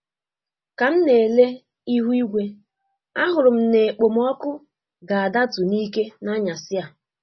Ka m na ele ihu-igwe, a hụrụ m na-ekpomọkụ ga-adatu n'ike n'anyasị a.